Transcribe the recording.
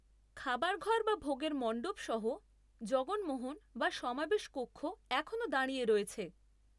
খাবারঘর বা ভোগের মণ্ডপ সহ জগনমোহন বা সমাবেশ কক্ষ এখনও দাঁড়িয়ে রয়েছে।